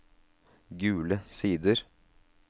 Gule Sider